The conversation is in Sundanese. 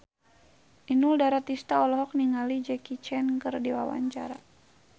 Inul Daratista olohok ningali Jackie Chan keur diwawancara